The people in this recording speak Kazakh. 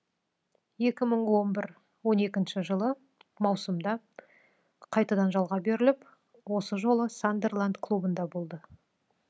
екі мың он бір он екінші жылы маусымда қайтадан жалға беріліп осы жолы сандерланд клубында болды